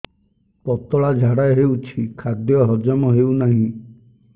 ପତଳା ଝାଡା ହେଉଛି ଖାଦ୍ୟ ହଜମ ହେଉନାହିଁ